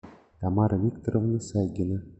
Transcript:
тамара викторовна сагина